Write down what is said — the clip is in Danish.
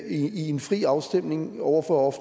i en fri en afstemning over for